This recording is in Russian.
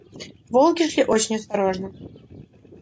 волки шли очень осторожно